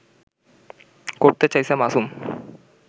করতে চাইছে মাসুম